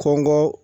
Kɔngɔ